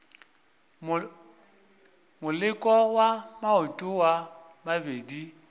moleko wa maoto a mabedi